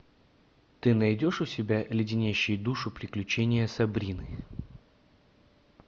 ты найдешь у себя леденящие душу приключения сабрины